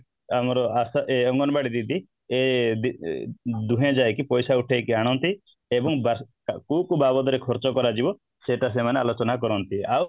ଆମର ଅଂ ୟେ ଆମର ଅଙ୍ଗନବାଡ଼ି ଦିଦି ୟେ ଦୁହେଁ ଯାଇକି ପଇସା ଉଠେଇକି ଆଣନ୍ତି ଏବଂ କୋଉ କୋଉ ବାବଦରେ ଖର୍ଚ୍ଚ କରାଯିବ ସେଇଟା ସେମାନେ ଆଲୋଚନା କରନ୍ତି ଆଉ